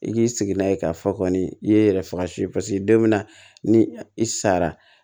I k'i sigi n'a ye k'a fɔ kɔni i ye yɛrɛ faga su ye don min na ni i sara